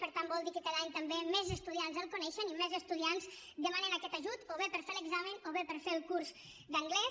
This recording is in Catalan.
per tant vol dir que cada any també més estudiants el coneixen i més estudiants demanen aquest ajut o bé per fer l’examen o bé per fer el curs d’anglès